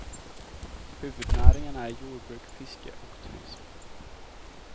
Huvudnäringarna är jordbruk, fiske och turism.